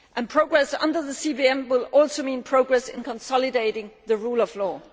Progress under the CVM will also mean progress in consolidating the rule of law.